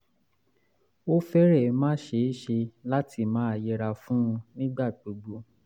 ó fẹ́rẹ̀ẹ́ má ṣe é ṣe láti máa yẹra fún un nígbà gbogbo